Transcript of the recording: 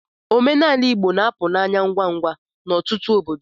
Omenala Igbo na-apụ n'anya ngwa ngwa n'ọtụtụ obodo.